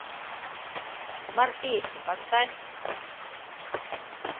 морпехи поставь